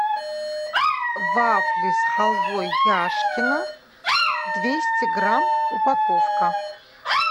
вафли с халвой яшкино двести грамм упаковка